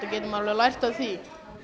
lært af því